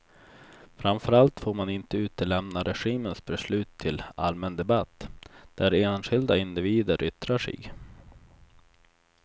Framför allt får man inte utlämna regimens beslut till allmän debatt, där enskilda individer yttrar sig.